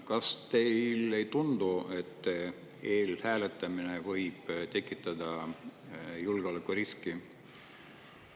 Kas teile ei tundu, et e-hääletamine võib tekitada julgeolekuriski?